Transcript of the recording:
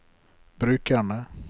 brukerne